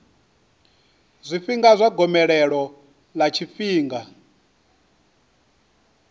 zwifhinga zwa gomelelo ḽa tshifhinga